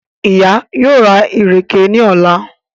Ìyá yóò rà ìrèké ní ọ̀la